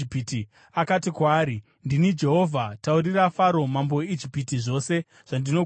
akati kwaari, “Ndini Jehovha. Taurira Faro mambo weIjipiti zvose zvandinokuudza.”